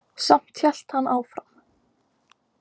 Samt hélt hann áfram.